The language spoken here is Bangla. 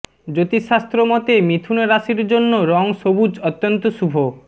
জ্যোতিষশাস্ত্র মতে মিথুন রাশির জন্য রঙ সবুজ অত্যন্ত শুভ